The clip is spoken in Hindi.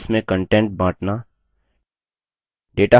शीट्स में content बाँटना